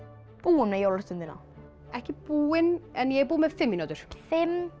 búin með jólastundina ekki búin en ég er búin með fimm mínútur fimm